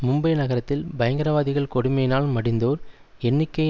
மும்பை நகரத்தில் பயங்கரவாதிகள் கொடுமையினால் மடிந்தோர் எண்ணிக்கை